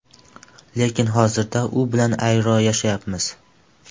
Lekin hozirda u bilan ayro yashayapmiz.